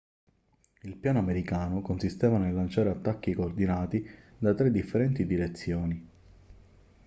il piano americano consisteva nel lanciare attacchi coordinati da tre differenti direzioni